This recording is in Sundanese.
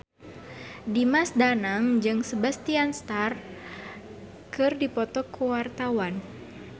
Dimas Danang jeung Sebastian Stan keur dipoto ku wartawan